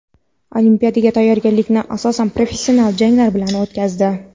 Olimpiadaga tayyorgarlikni asosan professional janglar bilan o‘tkazdi.